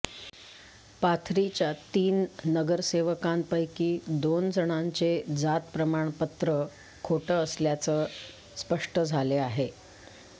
पाथरीच्या तीन नगरसेवकांपैकी दोन जणांचे जात प्रमाणपत्र खोट असल्याचे स्पष्ट झालेआहे